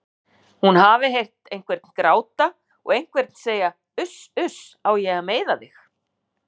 Hún hafi heyrt einhvern gráta og einhvern segja Uss uss, á ég að meiða þig?